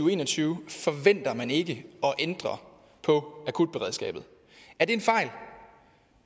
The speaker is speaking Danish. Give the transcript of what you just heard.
og en og tyve forventer man ikke at ændre på akutberedskabet er det en fejl